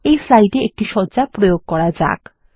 এই স্লাইডে একটি সজ্জা প্রয়োগ করা যাক